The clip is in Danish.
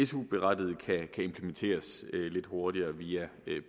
su berettigede kan implementeres lidt hurtigere via